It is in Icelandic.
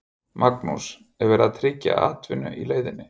Magnús: Er verið að tryggja atvinnu í leiðinni?